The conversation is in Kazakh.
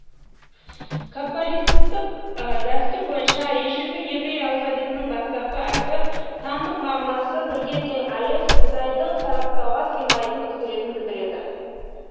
каббалисттық дәстүр бойынша ежелгі еврей алфавитының бастапқы әрпі сандық мағынасы бірге тең алеф құдайдың сараптауға сыймайтын құдіретін білдіреді